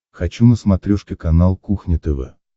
хочу на смотрешке канал кухня тв